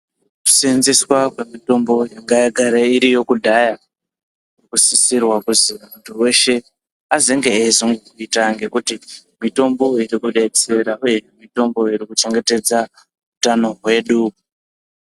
Kuseenzeswa kwemitombo yanga yagara iriyo kudhaya kunosisrwa kuzi muntu weshe azenge eiibvita ngekuti mitombo iyi irikudetsera uye irikuchengetedza utano hwedu.